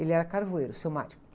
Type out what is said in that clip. Ele era carvoeiro, o seu.